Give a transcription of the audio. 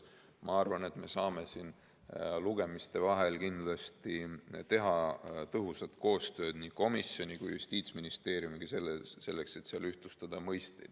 Ma arvan, et saame lugemiste vahel kindlasti teha tõhusat koostööd nii komisjoni kui ka Justiitsministeeriumiga, et mõisteid ühtlustada.